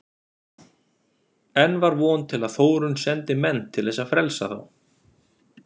Enn var von til að Þórunn sendi menn til þess að frelsa þá.